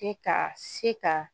Se ka se ka